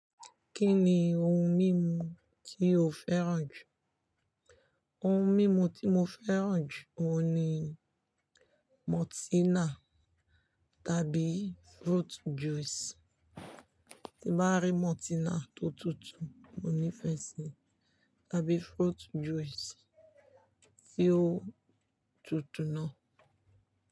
Kí ni ohun mímu tí o fẹ́ràn jù? Ohun mímu tí mo fẹ́ràn jù ohun ni Maltina tàbí fruit juice. Tí bá rí maltina tó tutù, mo ní'fẹ síi tàbí fruit juice tí ó tutù náà.